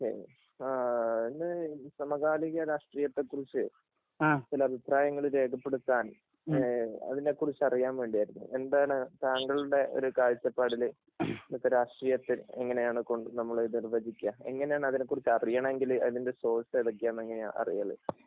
okay സമകാലിക രാഷ്ട്രീയത്തെ കുറിച്ച് ചില അഭിപ്രായങ്ങൾ രേഖപ്പെടുത്താൻ അതിനെ കുറിച്ച് അറിയാൻ വേണ്ടിയായിരുന്നു എന്താണ് താങ്കളുടെ ഒരു കാഴ്ചപ്പാടിൽ ഇന്നത്തെ രാഷ്ട്രീയത്തിൽ എങ്ങനെയാണ് നമ്മള് നിര്‍വ്വചിക്കാ എങ്ങനെയാണ് അതിനെക്കുറിച്ച് അറിയണമെങ്കിൽ അതിന്റെ സോർസ്‌ ഏതൊക്കെയാണ് എന്നൊക്കെ എങ്ങനാ അറിയല്